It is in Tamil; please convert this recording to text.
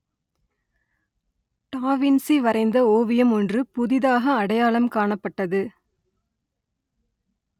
டா வின்சி வரைந்த ஓவியம் ஒன்று புதிதாக அடையாளம் காணப்பட்டது